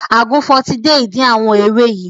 Àgùnfọn ti dé ìdí àwọn ewé yìí